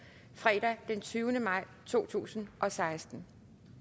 fredag den tyvende maj to tusind og seksten